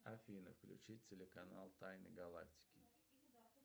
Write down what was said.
афина включи телеканал тайны галактики